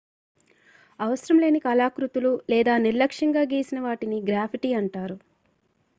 అవసరం లేని కళాకృతులు లేదా నిర్లక్ష్యంగా గీసినవాటిని గ్రాఫిటీ అంటారు